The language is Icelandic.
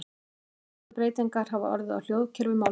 Einna mestar breytingar hafa orðið á hljóðkerfi málsins.